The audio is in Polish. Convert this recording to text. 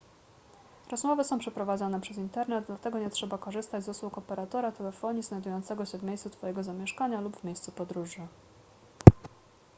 rozmowy są przeprowadzane przez internet dlatego nie trzeba korzystać z usług operatora telefonii znajdującego się w miejscu twojego zamieszkania lub w miejscu podróży